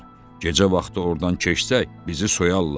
Gecə vaxtı ordan keçsək, bizi soyarlar.